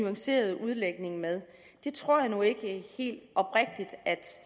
nuancerede udlægning med det tror jeg nu ikke